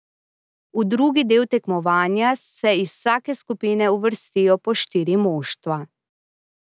V drugi del tekmovanja se iz vsake skupine uvrstijo po štiri moštva.